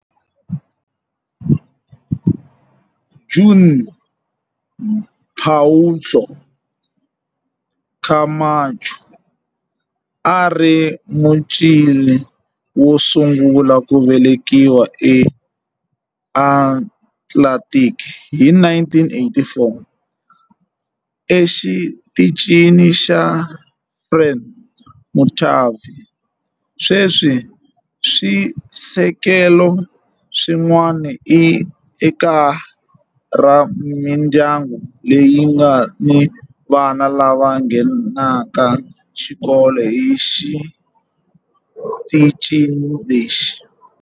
Juan Pablo Camacho a ri Muchile wo sungula ku velekiwa eAtlantic hi 1984 eXitichini xa Frei Montalva. Sweswi swisekelo swin'wana i kaya ra mindyangu leyi nga ni vana lava nghenaka xikolo exitichini lexi.